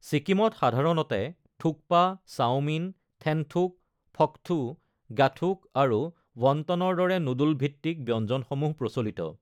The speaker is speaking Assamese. ছিকিমত সাধাৰণতে থুক্পা, চাওমিন, থেন্থুক, ফক্থু, গ্যাথুক আৰু ৱণ্টনৰ দৰে নুডল ভিত্তিক ব্যঞ্জনসমূহ প্ৰচলিত।